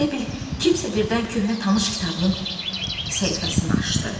Elə bil kimsə birdən köhnə tanış kitabın səhifəsini açdı.